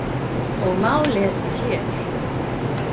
og má lesa hér.